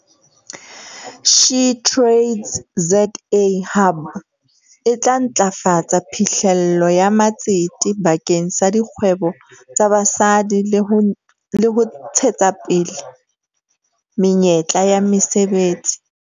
SheTradesZA Hub e tla ntlafatsa phihlello ya matsete bakeng sa dikgwebo tsa basadi le ho le ho ntshetsapele menyetla ya mesebetsi.